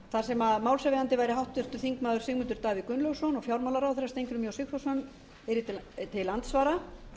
þar sem málshefjandi væri háttvirtur þingmaður sigmundur davíð gunnlaugsson og fjármálaráðherra steingrímur j sigfússon yrði til andsvara